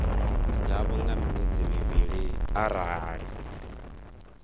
ḽavho nga miṅwedzi mivhili arali